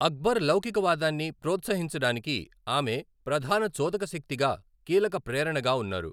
అక్బర్ లౌకికవాదాన్ని ప్రోత్సహించడానికి ఆమె ప్రధాన చోదక శక్తిగా, కీలక ప్రేరణగా ఉన్నారు.